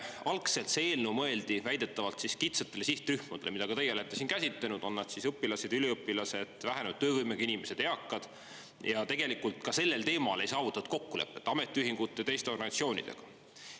Algselt oli see eelnõu mõeldud väidetavalt kitsastele sihtrühmadele, mida ka teie olete siin käsitlenud – on nad siis õpilased või üliõpilased, vähenenud töövõimega inimesed, eakad –, ja tegelikult ka sellel teemal ei saavutatud kokkulepet ametiühingute ja teiste organisatsioonidega.